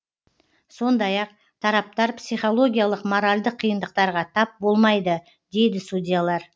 сондай ақ тараптар психологиялық моральдық қиындықтарға тап болмайды дейді судьялар